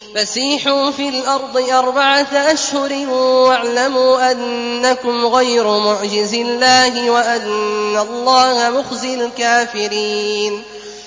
فَسِيحُوا فِي الْأَرْضِ أَرْبَعَةَ أَشْهُرٍ وَاعْلَمُوا أَنَّكُمْ غَيْرُ مُعْجِزِي اللَّهِ ۙ وَأَنَّ اللَّهَ مُخْزِي الْكَافِرِينَ